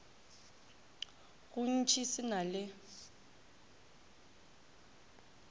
go ntši se na le